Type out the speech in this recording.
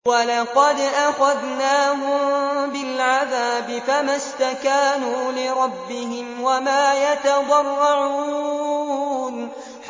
وَلَقَدْ أَخَذْنَاهُم بِالْعَذَابِ فَمَا اسْتَكَانُوا لِرَبِّهِمْ وَمَا يَتَضَرَّعُونَ